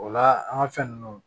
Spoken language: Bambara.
O la an ka fɛn ninnu